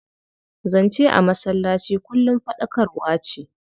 Zance a masallaci kullum faɗakarwa ce.